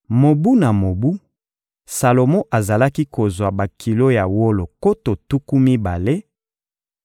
Mobu na mobu, Salomo azalaki kozwa bakilo ya wolo nkoto tuku mibale,